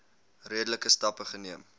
redelike stappe neem